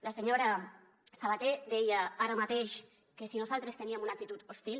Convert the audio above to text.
la senyora sabater deia ara mateix que si nosaltres teníem una actitud hostil